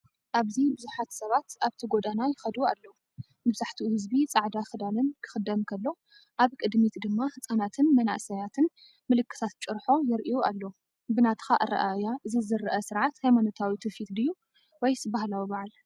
ኣብዚ ብዙሓት ሰባት ኣብቲ ጎደና ይኸዱ ኣለዉ። መብዛሕትኡ ህዝቢ ጻዕዳ ክዳንን ክኽደን ከሎ፡ ኣብ ቅድሚት ድማ ህጻናትን መንእሰያትን ምልክታት ጭርሖ የርእዩ ኣለዉ። ብናትካ ኣረኣእያ እዚ ዝርአ ስርዓት ሃይማኖታዊ ትውፊት ድዩ ወይስ ባህላዊ በዓል?